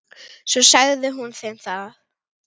Svo sagði hún þeim að